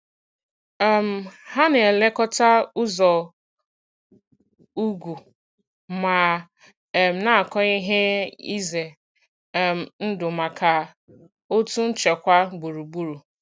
um Hà na-elekọta ụzọ̀ ugwu ma um na-akọ ihe izè um ndụ̀ maka òtù nchekwà gburugburù.